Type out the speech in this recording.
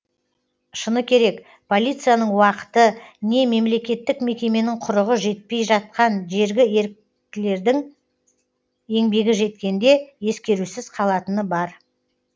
шыны керек полицияның уақыты не мемлекеттік мекеменің құрығы жетпей жатқан жергі еріктілердің еңбегі жеткенде ескерусіз қалатыны бар